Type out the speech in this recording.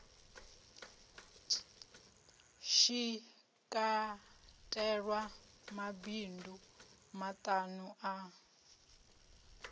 shi katelwa mabindu maṱuku a